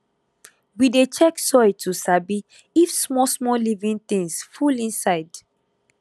we dey check soil to sabi if smallsmall living things full inside